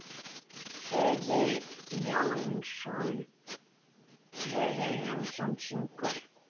Hugi Jónsson syngur.